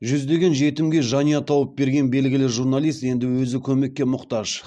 жүздеген жетімге жанұя тауып берген белгілі журналист енді өзі көмекке мұқтаж